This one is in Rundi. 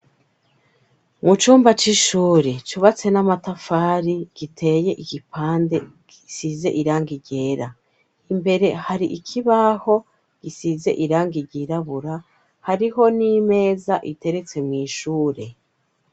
Mu cumba c'ishure cubatse n'amatafari, giteye igipande, gisize irangi ryera, imbere hari ikibaho gisize irangi ryirabura hariho n'imeza iteretse mw'ishure.